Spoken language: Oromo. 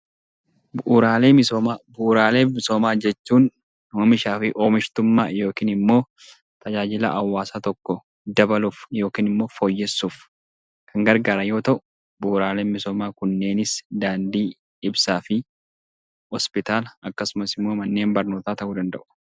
Bu'uuraalee misoomaa jechuun oomishaa fi oomishtummaa yookiin tajaajila hawaasa tokkoo dabaluuf yookiin immoo fooyyessuuf kan gargaaru yoo ta'u, bu'uuraaleen misoomaa kanneenis daandii, ibsaan fi hospitaala akkasumas immoo manneen barnootaa ta'uu danda'u.